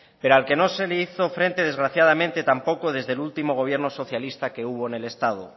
pero al que no se le hizo frente desgraciadamente tampoco desde el último gobierno socialista que hubo en el estado